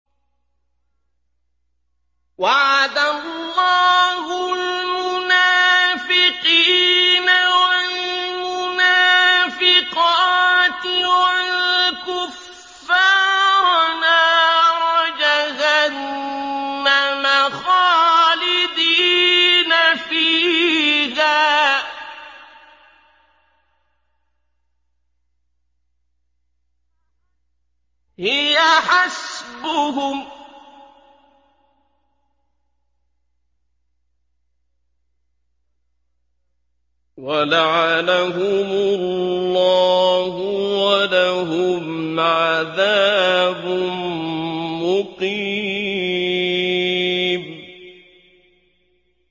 وَعَدَ اللَّهُ الْمُنَافِقِينَ وَالْمُنَافِقَاتِ وَالْكُفَّارَ نَارَ جَهَنَّمَ خَالِدِينَ فِيهَا ۚ هِيَ حَسْبُهُمْ ۚ وَلَعَنَهُمُ اللَّهُ ۖ وَلَهُمْ عَذَابٌ مُّقِيمٌ